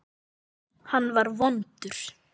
Hann var vondur.